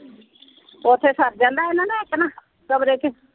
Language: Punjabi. ਓਥੇ ਸਰ ਜਾਂਦਾ ਓਹਨਾ ਦਾ ਇਕ ਨਾ, ਕਮਰੇ ਚ।